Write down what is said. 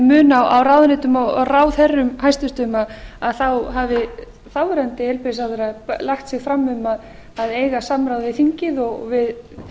mun á ráðuneytum og ráðherrum hæstvirtur þá hafi þáverandi heilbrigðisráðherra lagt sig fram um að eiga samráð við þingið og við